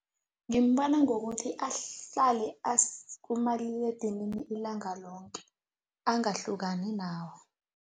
Ngimbona ngokuthi ahlale kumaliledinini ilanga loke, angahlukani nawo.